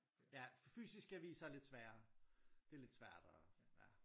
Ja fysiske aviser er lidt sværere det er lidt svært at ja